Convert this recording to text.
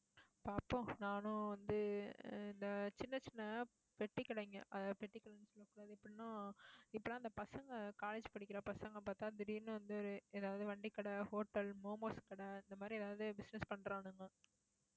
பாப்போம் நானும் வந்து, இந்த ஆஹ் சின்ன, சின்ன பெட்டிக் கடைங்க பெட்டிக் கடை எப்படின்னா இந்த பசங்க college படிக்கிற பசங்க பாத்தா திடீர்னு வந்து, ஏதாவது வண்டிக்கடை hotel, momos கடை இந்த மாதிரி ஏதாவது business பண்றானுங்க